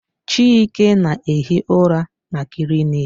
Chike na-ehi ụra na klịniki